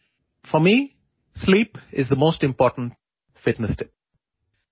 എന്നെ സംബന്ധിച്ചിടത്തോളം ഉറക്കമാണ് ഏറ്റവും പ്രധാനപ്പെട്ട ഫിറ്റ്നസ് ടിപ്പ്